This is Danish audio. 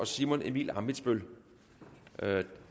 simon emil ammitzbøll